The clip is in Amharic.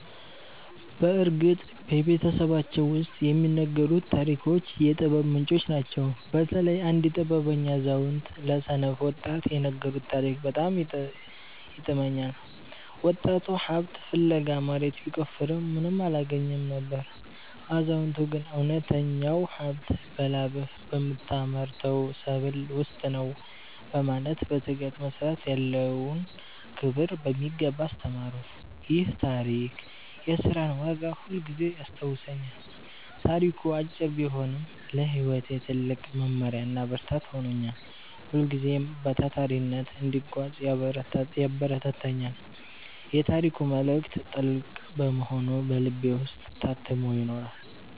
በእርግጥ በቤተሰባችን ውስጥ የሚነገሩት ታሪኮች የጥበብ ምንጮች ናቸው። በተለይ አንድ ጥበበኛ አዛውንት ለሰነፍ ወጣት የነገሩት ታሪክ በጣም ይጥመኛል። ወጣቱ ሀብት ፍለጋ መሬት ቢቆፍርም ምንም አላገኘም ነበር። አዛውንቱ ግን እውነተኛው ሀብት በላብህ በምታመርተው ሰብል ውስጥ ነው በማለት በትጋት መስራት ያለውን ክብር በሚገባ አስተማሩት። ይህ ታሪክ የሥራን ዋጋ ሁልጊዜም ያስታውሰኛል። ታሪኩ አጭር ቢሆንም ለሕይወቴ ትልቅ መመሪያና ብርታት ሆኖኛል። ሁልጊዜም በታታሪነት እንድጓዝ ያበረታታኛል። የታሪኩ መልእክት ጥልቅ በመሆኑ በልቤ ውስጥ ታትሞ ይኖራል።